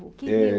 Que rio? Eh...